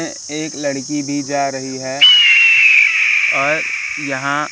एक लड़की भी जा रही है और यहां--